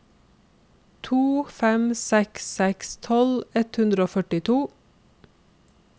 to fem seks seks tolv ett hundre og førtito